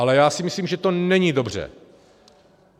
Ale já si myslím, že to není dobře.